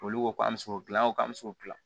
Olu ko k'an bɛ se k'o dilan o kan an bɛ se o dilan